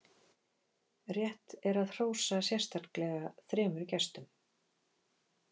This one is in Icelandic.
Rétt er að hrósa sérstaklega þremur gestum.